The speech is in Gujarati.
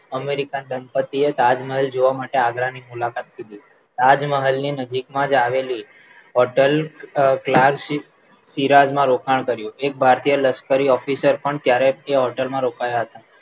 અમેરિકન દંપતિએ તાજમહેલ જોવા માટે આગ્રાની મુલાકાત લીધી તાજમહેલ ની નજીકમાં જ આવેલી હોટલ ક્લાસ સિ સિરાજ માં રોકાણ કર્યું એક ભારતીય લશ્કરી officer પણ ત્યારે તે હોટલમાં રોકાયા હતા